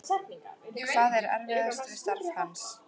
Hvað er erfiðast við starf hans?